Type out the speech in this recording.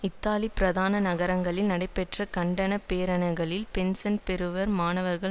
இத்தாலியின் பிரதான நகரங்களில் நடைபெற்ற கண்டன பேரணிகளில் பென்சன் பெறுவோர் மாணவர்கள்